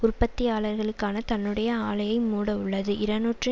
உற்பத்தியாளர்களான தன்னுடைய ஆலையை மூட உள்ளது இரநூற்றி